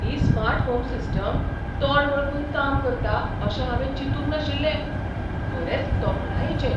ही smart home system तोंड वळखून काम करता अशें हांवें चिंतूंक नाशिल्लें. खरेंच तोखणायेचें